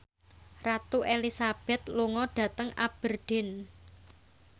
Ratu Elizabeth lunga dhateng Aberdeen